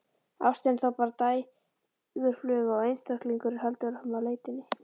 Ástin er þá bara dægurfluga og einstaklingurinn heldur áfram leitinni.